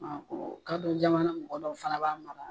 Kadɔ jamana mɔgɔ dɔw fana b'a mara